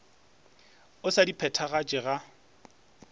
o sa di phethagatše ga